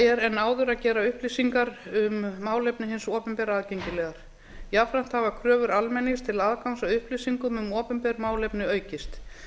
er en áður að gera upplýsingar um málefni hins opinbera aðgengilegar jafnframt hafa kröfur almennings til aðgangs að upplýsingum um opinber málefni aukist